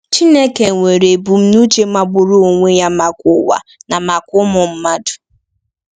Chineke nwere ebumnuche magburu onwe ya maka ụwa na maka ụmụ mmadụ.